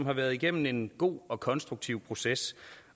har været igennem en god og konstruktiv proces